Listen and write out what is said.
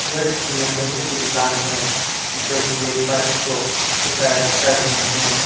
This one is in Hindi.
यह किसी मैकेनिक की दुकान है जो की एक बाइक को रिपेयर कर रहे हैं।